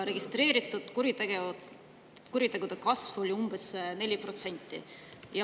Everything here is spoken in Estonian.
Registreeritud kuritegude kasv oli umbes 4%.